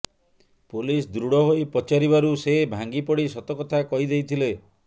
police ଦୃଢ଼ ହୋଇ ପଚାରିବାରୁ ସେ ଭାଙ୍ଗିପଡ଼ିସତ କଥା କହି ଦେଇଥିଲେ